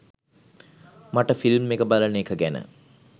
මට ෆිල්ම් එක බලන එක ගැන